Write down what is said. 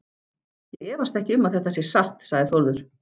Ég efast ekki um að þetta sé satt, sagði Þórður.